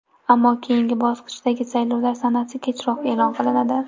Ammo keyingi bosqichdagi saylovlar sanasi kechroq e’lon qilinadi.